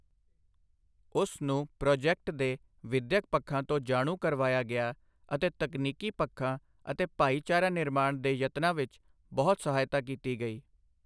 ਉਸ ਨੂੰ ਪ੍ਰੋਜੈਕਟ ਦੇ ਵਿਦਿਅਕ ਪੱਖਾਂ ਤੋਂ ਜਾਣੂ ਕਰਵਾਇਆ ਗਿਆ ਅਤੇ ਤਕਨੀਕੀ ਪੱਖਾਂ ਅਤੇ ਭਾਈਚਾਰਾ ਨਿਰਮਾਣ ਦੇ ਯਤਨਾਂ ਵਿੱਚ ਬਹੁਤ ਸਹਾਇਤਾ ਕੀਤੀ ਗਈ।